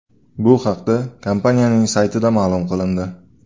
Bu haqda kompaniyaning saytida ma’lum qilindi .